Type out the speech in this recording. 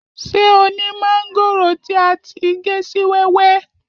Ṣé o ni mángòrò ti a ti gé si wẹ́wẹ́?